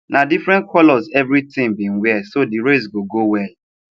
na different colors every team been wear so the race go go well